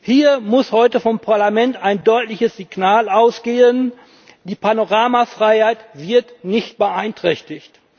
Hier muss heute vom Parlament ein deutliches Signal ausgehen Die Panoramafreiheit wird nicht beeinträchtigt.